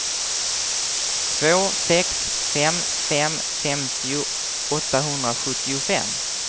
två sex fem fem femtio åttahundrasjuttiofem